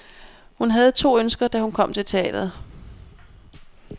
Hun havde to ønsker, da hun kom til teatret.